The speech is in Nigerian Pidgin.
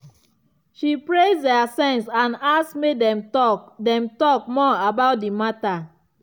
she praise their sense and ask make dem talk dem talk more about the matter.